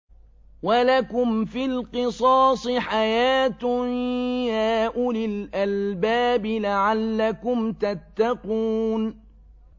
وَلَكُمْ فِي الْقِصَاصِ حَيَاةٌ يَا أُولِي الْأَلْبَابِ لَعَلَّكُمْ تَتَّقُونَ